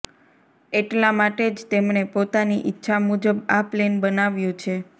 એટલા માટે જ તેમણે પોતાની ઈચ્છા મુજબ આ પ્લેન બનાવ્યું છે